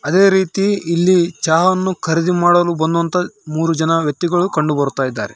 ತ್ತ ಇದೆ-- ಅದೇ ರೀತಿ ಇಲ್ಲಿ ಚಹಾವನ್ನು ಖರೀದಿ ಮಾಡಲು ಬಂದಂತಹ ಮೂರುಜನ ವ್ಯಕ್ತಿಗಳು ಕಂಡುಬರ್ತಾಇದ್ದಾರೆ